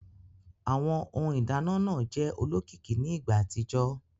Awọn Ohun ìdáná náà jẹ olókìkí ní ìgbà àtijọ́